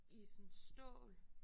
I sådan stål